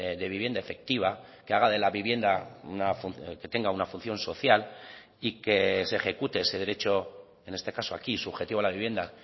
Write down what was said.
de vivienda efectiva que haga de la vivienda que tenga una función social y que se ejecute ese derecho en este caso aquí subjetivo a la vivienda